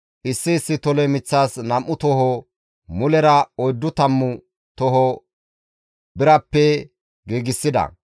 Issi issi tole miththas nam7u toho, mulera oyddu tammu toho birappe giigsida.